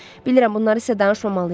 Bilirəm, bunları sizə danışmamalıyam.